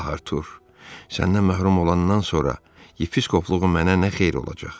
Ah, Artur, səndən məhrum olandan sonra yepiskopluğum mənə nə xeyri olacaq?